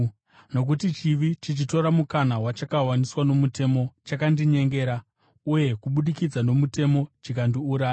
Nokuti chivi chichitora mukana wachakawaniswa nomutemo, chakandinyengera, uye kubudikidza nomutemo chikandiuraya.